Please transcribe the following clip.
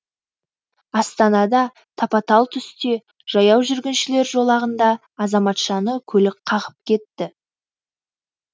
астанада тапа талтүсте жаяу жүргіншілер жолағында азаматшаны көлік қағып кетті